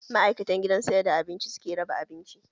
Ma'aikatan gidan sayar da abinci suke raba abinci